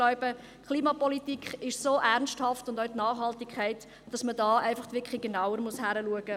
Ich glaube, Klimapolitik und auch die Nachhaltigkeit sind so ernsthaft, dass man da wirklich genauer hinschauen muss.